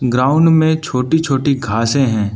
Ground में छोटी छोटी घासें हैं।